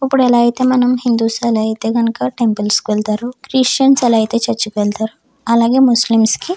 ఇప్పుడు ఎలా అయితే హిందూ సైతే అలా అయితే గనుక టెంపుల్స్ కి వెళ్తారు క్రిస్టియన్స్ అలా అయితే చర్చ్ కి వెళ్తారు ముస్లిమ్స్ --